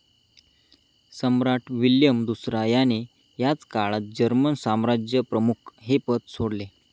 सम्राट William दुसरा ह्याने ह्याच काळात जर्मन साम्राज्यप्रमुख हे पद सोडले.